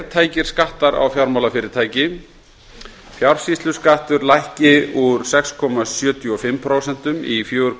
sértæka skatta á fjármálafyrirtæki fjársýsluskattur lækki úr sex komma sjötíu og fimm prósent í fjörutíu